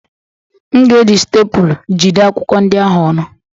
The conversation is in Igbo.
M ga-eji stapulu jide akwụkwọ ndị ahụ ọnụ